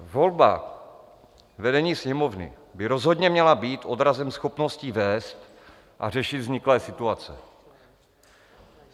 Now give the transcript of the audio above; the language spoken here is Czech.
Volba vedení Sněmovny by rozhodně měla být odrazem schopností vést a řešit vzniklé situace.